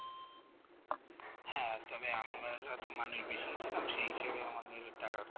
হ্যাঁ তবে আমরা তো মানে ছিলাম সেই হিসেবে নিজের টাকা কম